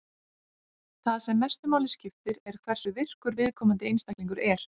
Það sem mestu máli skiptir er hversu virkur viðkomandi einstaklingur er.